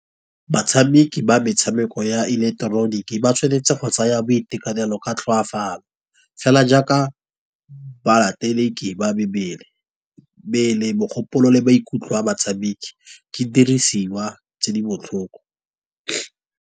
Batshameki ba metshameko ya ileketeroniki, ba tshwanetse go tsaya boitekanelo ka tlhokafalo. Fela jaaka ba mebele, mmele mogopolo le ba ikutlwa batshameki, ke dirisiwa tse di botlhoko.